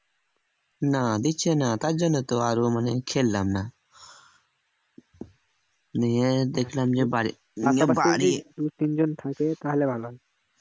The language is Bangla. না দিচ্ছে না তার জন্য তো আর মানে খেললাম না নিয়ে দেখলাম যে